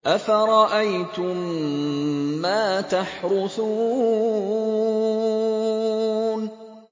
أَفَرَأَيْتُم مَّا تَحْرُثُونَ